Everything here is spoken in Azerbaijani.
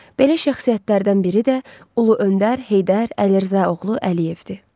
Belə şəxsiyyətlərdən biri də Ulu Öndər Heydər Əlirzaoğlu Əliyevdir.